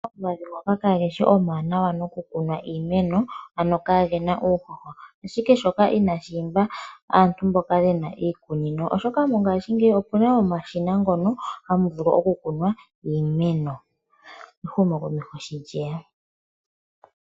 Omavi ngo kageshi okawanawa noku kunwa iimeno ano kagena uuhoho ashike shoka inashi imba aantu mboka yena iikunino oshoka mongashingeyi opena omashina ngono hamu vulu oku kunwa iimeno, ehumo komesho shi lyeya